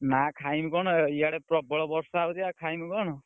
ନା ଖାଇମି କଣ ଇଆଡେ ପ୍ରବଳ ବର୍ଷା ହଉଛି ଆଉ ଖାଇମି କଣ?